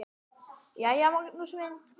JÓN: Jæja, Magnús minn!